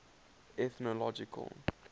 ethnological